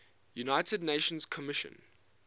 united nations commission